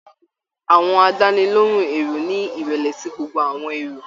Àwọn àdánilohùn èrò ni ìrẹlẹ sí gbogbo àwọn èrò